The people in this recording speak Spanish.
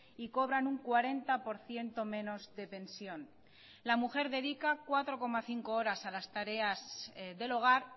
y cobran un cuarenta por ciento menos de pensión la mujer dedica cuatro coma cinco horas a las tareas del hogar